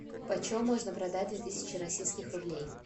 по чем можно продать две тысячи российских рублей